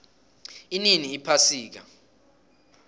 inini iphasika